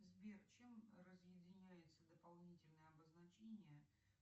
сбер чем разъединяется дополнительное обозначение